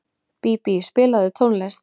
Bíbí, spilaðu tónlist.